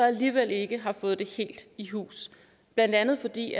alligevel ikke har fået det helt i hus blandt andet fordi